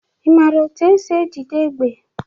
Ị maara etu esi ejide égbè?